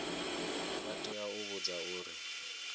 vha tea u vhudzwa uri